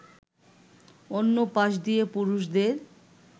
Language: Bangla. অন্য পাশ দিয়ে পুরুষদের